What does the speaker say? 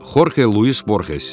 Xorxe Luis Borxes.